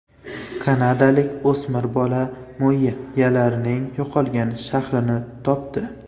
Kanadalik o‘smir bola mayyalarning yo‘qolgan shahrini topdi.